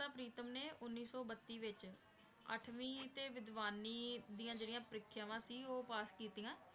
ਪ੍ਰੀਤਮ ਨੇ ਉੱਨੀ ਸੌ ਬੱਤੀ ਵਿੱਚ ਅੱਠਵੀਂ ਤੇ ਵਿਦਵਾਨੀ ਦੀਆਂ ਜਿਹੜੀਆਂ ਪ੍ਰੀਖਿਆਵਾਂ ਸੀ ਉਹ ਪਾਸ ਕੀਤੀਆਂ।